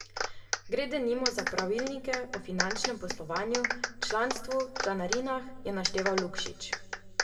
Gre denimo za pravilnike o finančnem poslovanju, članstvu, članarinah, je našteval Lukšič.